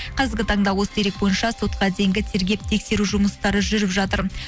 қазіргі таңда осы дерек бойынша сотқа дейінгі тергеп тексеру жұмыстары жүріп жатыр